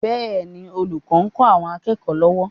Bẹ́ẹ̀ni, olùkọ́ ń kọ́ àwọn akẹ́kọ̀ọ́ lọ́wọ́